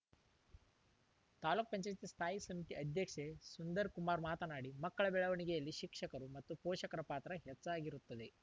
ತಾಲೂಕ್ ಪಂಚಾಯತಿ ಸ್ಥಾಯಿ ಸಮಿತಿ ಅಧ್ಯಕ್ಷೆ ಸುಂದರ್‌ ಕುಮಾರ್‌ ಮಾತನಾಡಿ ಮಕ್ಕಳ ಬೆಳವಣಿಗೆಯಲ್ಲಿ ಶಿಕ್ಷಕರು ಮತ್ತು ಪೋಷಕರ ಪಾತ್ರ ಹೆಚ್ಚಾಗಿರುತ್ತದೆ